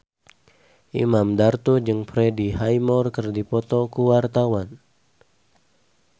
Imam Darto jeung Freddie Highmore keur dipoto ku wartawan